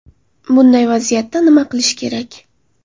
Bunday vaziyatda nima qilish kerak?